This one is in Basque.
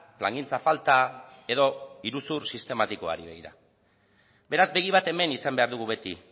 plangintza falta edo iruzur sistematikoari begira beraz begi bat hemen izan behar dugu beti